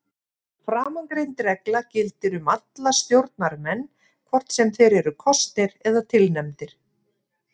Framangreind regla gildir um alla stjórnarmenn hvort sem þeir eru kosnir eða tilnefndir.